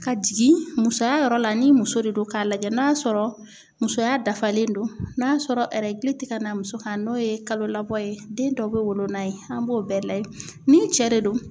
Ka jigin musoya yɔrɔ la ni muso de don k'a lajɛ n'a sɔrɔ musoya dafalen don n'a sɔrɔ tɛ ka na muso kan n'o ye kalo labɔ ye den dɔ bɛ wolo n'a ye an b'o bɛɛ lajɛ ni cɛ de don.